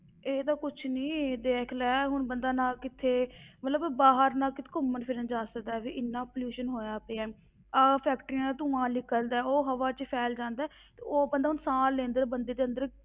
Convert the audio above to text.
ਇਹ ਤਾਂ ਕੁਛ ਨੀ, ਦੇਖ ਲੈ ਹੁਣ ਬੰਦਾ ਨਾ ਕਿਤੇ ਮਤਲਬ ਬਾਹਰ ਨਾ ਕਿਤੇ ਘੁੰਮਣ ਫਿਰਨ ਜਾ ਸਕਦਾ, ਵੀ ਇੰਨਾ pollution ਹੋਇਆ ਪਿਆ ਹੈ, ਆਹ factories ਦਾ ਧੂੰਆ ਨਿਕਲਦਾ ਹੈ, ਉਹ ਹਵਾ ਵਿੱਚ ਫ਼ੈਲ ਜਾਂਦਾ ਹੈ, ਤੇ ਉਹ ਬੰਦਾ ਹੁਣ ਸਾਹ ਲੈਂਦਾ ਤੇ ਬੰਦੇ ਦੇ ਅੰਦਰ